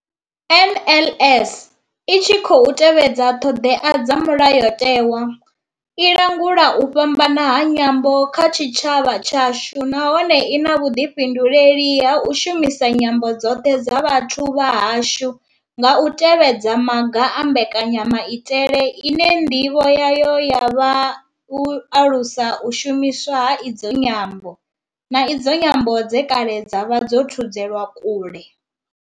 NLS I tshi khou tevhedza ṱhodea dza Mulayo tewa, i langula u fhambana ha nyambo kha tshitshavha tshashu nahone I na vhuḓifhinduleli ha u shumisa nyambo dzoṱhe dza vhathu vha hashu nga u tevhedza maga a mbekanya maitele ine ndivho yayo ya vha u alusa u shumiswa ha idzi nyambo, na idzo nyambo dze kale dza vha dzo thudzelwa kule.